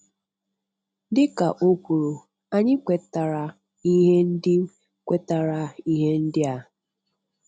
Dị ka ọ kwuru, anyị kwetara ihe ndị kwetara ihe ndị a